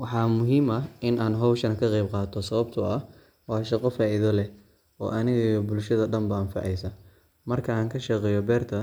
Waxa muxiim ah in xowshaan kaqebqato sawabto ah wa shagoo faida leh, oo aniga iyo bulshada dan bo anfaceyso, markan kashaqeyo berta